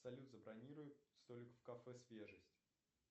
салют забронируй столик в кафе свежесть